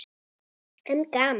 En gaman!